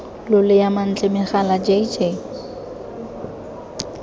lolea mantle megala j j